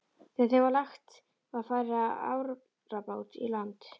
Þegar þeim var lagt var farið á árabát í land.